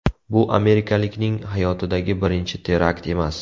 Bu amerikalikning hayotidagi birinchi terakt emas.